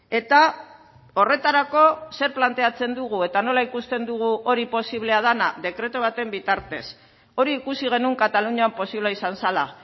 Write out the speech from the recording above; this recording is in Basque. eta horretarako zer planteatzen dugu eta nola ikusten dugu hori posiblea dena dekretu baten bitartez hori ikusi genuen katalunian posible izan zela